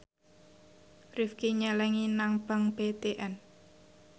Rifqi nyelengi nang bank BTN